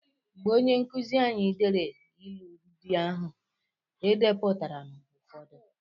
Mgbe onye nkụzi anyị dere ịlụ ndị ahụ, E depụtara m ụfọdụ.